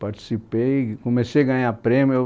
Participei, comecei a ganhar prêmio.